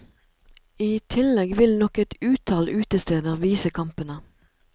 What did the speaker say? I tillegg vil nok et utall utesteder vise kampene.